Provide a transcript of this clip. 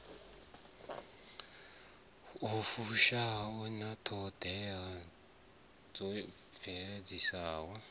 fushaho ya ṱhoḓea dza tshibveledzwa